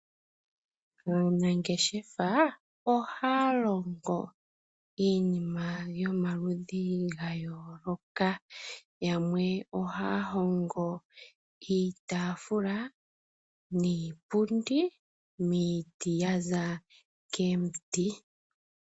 Aanangeshefa ohaya longo iinima yomaludhi gayooloka. Yamwe ohaya hongo iitaafula niipundi miiti ya za komiti.